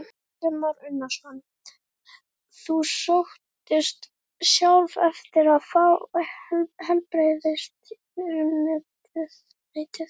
Kristján Már Unnarsson: Þú sóttist sjálf eftir að fá heilbrigðisráðuneytið?